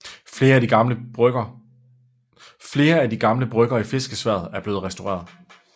Flere af de gamle brygger i fiskeværet er blevet restaureret